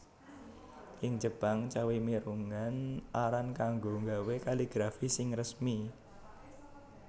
Ing Jepang cawi mirunggan aran kanggo nggawé kaligrafi sing resmi